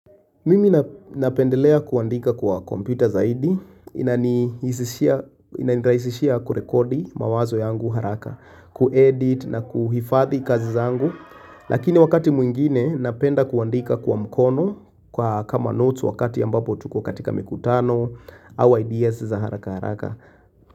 Mimi napendelea kuandika kwa kompyuta zaidi, ina niraisishia kurekodi mawazo yangu haraka, kuedit na kuhifadhi kazi zangu, lakini wakati mwingine napenda kuandika kwa mkono kwa kama notes wakati ambapo tuko katika mikutano, au ideas za haraka haraka.